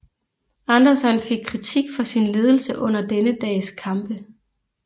Anderson fik kritik for sin ledelse under denne dags kampe